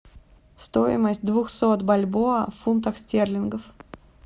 стоимость двухсот бальбоа в фунтах стерлингов